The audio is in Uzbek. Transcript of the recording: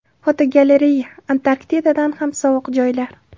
Fotogalereya: Antarktidadan ham sovuq joylar.